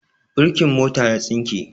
Birkin mota ya tsinke.